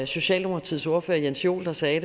socialdemokratiets ordfører jens joel sagde